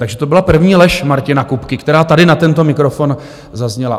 Takže to byla první lež Martina Kupky, která tady na tento mikrofon zazněla.